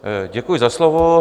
Děkuji za slovo.